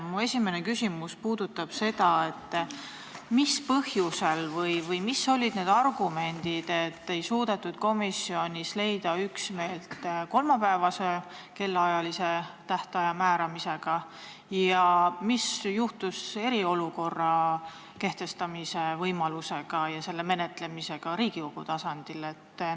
Minu esimene küsimus puudutab seda, mis olid need põhjused või argumendid, et komisjonis ei suudetud leida üksmeelt kolmapäevasele tööpäevale kellaajalise tähtaja määramises ja mis juhtus eriolukorra kehtestamise võimalusega ja selle menetlemisega Riigikogu tasandil.